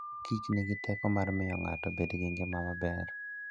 Mor Kich nigi teko mar miyo ng'ato obed gi ngima maber.